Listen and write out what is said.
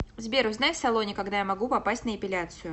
сбер узнай в салоне когда я могу попасть на эпиляцию